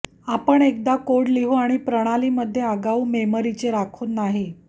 आपण एकदा कोड लिहू आणि प्रणाली मध्ये अगाऊ मेमरीचे राखून नाही